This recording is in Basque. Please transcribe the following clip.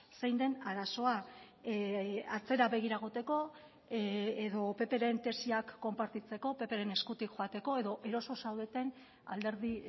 zein den arazoa atzera begira egoteko edo ppren tesiak konpartitzeko ppren eskutik joateko edo eroso zaudeten alderdi